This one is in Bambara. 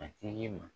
A tigi ma